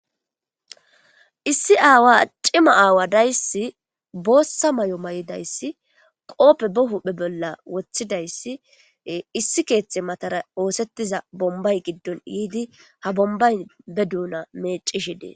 Issi aawa accima aawa dayssi boossa may'o may'idayssi qooppe bo huphe bolla woththidayssi issi keeththe matara oosettiza bombay giddon yiidi ha bombay be duuna meecishi dee.